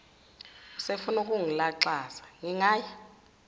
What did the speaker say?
usefuna ukungilaxaza ngingaya